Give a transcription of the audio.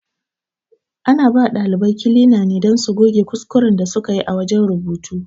Ana bawa ɗalibai kilina ne don su goge kuskuren da sukayi a wajen rubutu